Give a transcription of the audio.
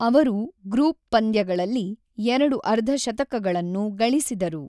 ಅವರು ಗ್ರೂಪ್ ಪಂದ್ಯಗಳಲ್ಲಿ ಎರಡು ಅರ್ಧಶತಕಗಳನ್ನು ಗಳಿಸಿದರು.